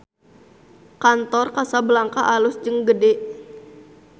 Kantor Casablanca alus jeung gede